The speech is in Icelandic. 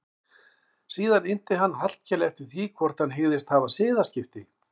Síðan innti hann Hallkel eftir því hvort hann hygðist hafa siðaskipti.